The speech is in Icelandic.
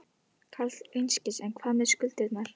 Karl Eskil: En hvað með skuldirnar?